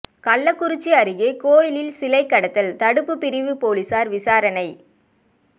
கள்ளக்குறிச்சி அருகே கோயிலில் சிலை கடத்தல் தடுப்புப் பிரிவு போலீஸாா் விசாரணை